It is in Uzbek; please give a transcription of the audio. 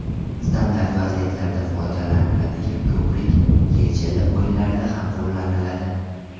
Standart vaziyatlarda foydalaniladigan ko‘pik YeChL o‘yinlarida ham qo‘llaniladi.